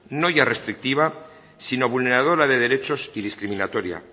no ya restrictiva sino vulneradora de derechos y discriminatoria